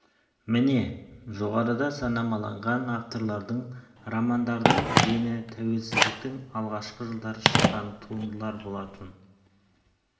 міне жоғарыда санамаланған авторлардың романдарының дені тәуелсіздіктің алғашқы жылдары шыққан туындылар болатын